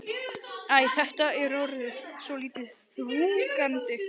Æ, þetta er orðið svolítið þrúgandi.